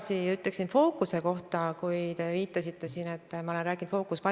Minu täpsustav küsimus on see: kas te olete kohtunud tehisintellekti arendamisega tegelevate Eesti ettevõtete esindajatega?